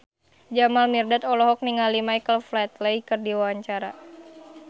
Jamal Mirdad olohok ningali Michael Flatley keur diwawancara